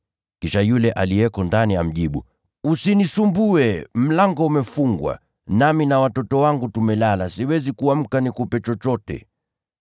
“Kisha yule aliyeko ndani amjibu, ‘Usinisumbue. Mlango umefungwa, nami na watoto wangu tumelala. Siwezi kuamka nikupe chochote.’